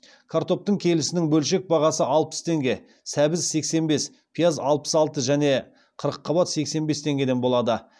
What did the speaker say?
картоптың келісінің бөлшек бағасы алпыс теңге сәбіз сексен бес пияз алпыс алты және қырыққабат сексен бес теңгеден болады